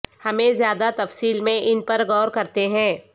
ہمیں زیادہ تفصیل میں ان پر غور کرتے ہیں